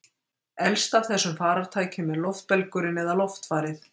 elst af þessum farartækjum er loftbelgurinn eða loftfarið